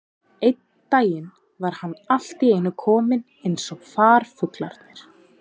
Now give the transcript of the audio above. Einn daginn var hann allt í einu kominn eins og farfuglarnir.